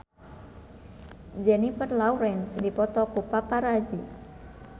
Jennifer Lawrence dipoto ku paparazi